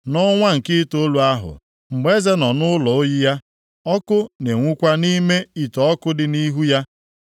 Nʼọnwa nke itoolu ahụ, mgbe eze nọ nʼụlọ oyi ya, ọkụ na-enwukwa nʼime ite ọkụ dị nʼihu ya.